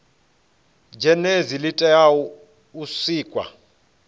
zhenedzi li tea u sikwa